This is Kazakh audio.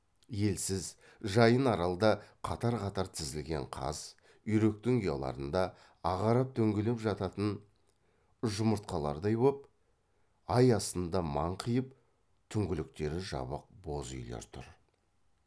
елсіз жайын аралда қатар қатар тізілген қаз үйректің ұяларында ағарып дөңгеленіп жататын жұмыртқалардай боп ай астында маңқиып түңліктері жабық боз үйлер тұр